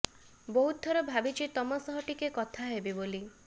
ବହୁତ ଥର ଭାବିଛି ତମ ସହ ଟିକେ କଥା ହେବି ବୋଲି